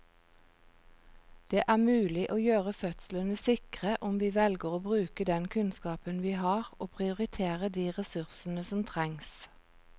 Det er mulig å gjøre fødslene sikre om vi velger å bruke den kunnskapen vi har og prioritere de ressursene som trengs.